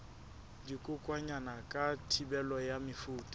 dikokwanyana ka thibelo ya mefuta